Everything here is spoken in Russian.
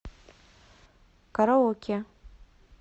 караоке